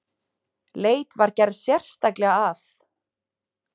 Leit var gerð sérstaklega að